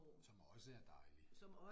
Som også er dejlig